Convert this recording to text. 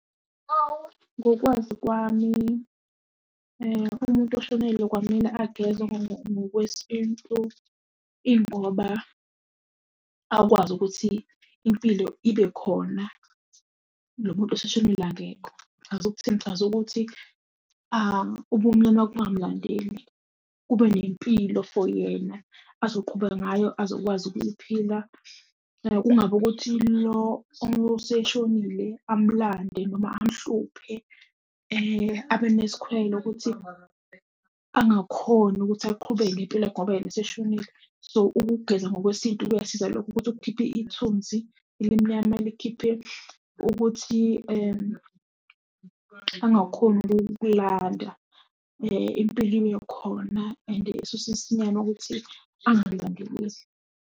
Ngokwazi kwami, umuntu oshonelwe kwamele agezwe ngokwesintu, ingoba akwazi ukuthi impilo ibe khona, lo muntu oseshonile akekho. Ngichaza ukuthini, ngichaza ukuthi ubumnyama kungamlandeli, kube nempilo for yena azoqhubeka ngayo, azokwazi ukuyiphila. Kungabi ukuthi lo oseshonile amlande noma amhluphe abe nesikhwele ukuthi angakhoni ukuthi aqhubeke ngempilo yakhe ngoba yena eseshonile. So ukugeza ngokwesintu kuyasiza lokho ukuthi kukhipha ithunzi elimnyama, likhiphe ukuthi angakhoni ukukulanda impilo ibe khona and esuse isinyama ukuthi angamlandeleli.